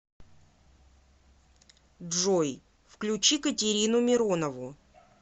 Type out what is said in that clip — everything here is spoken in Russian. джой включи катерину миронову